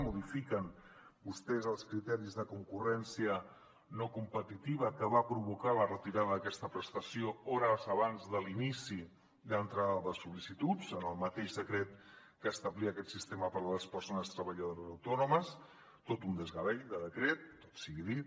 modifiquen vostès els criteris de concurrència no competitiva que van provocar la retirada d’aquesta prestació hores abans de l’inici de l’entrada de sol·licituds en el mateix decret que establia aquest sistema per a les persones treballadores autònomes tot un desgavell de decret tot sigui dit